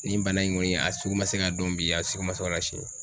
Nin bana in kɔni a sugu man se ka don bi, a sugu ma se ka don sini.